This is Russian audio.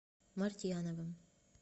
мартьяновым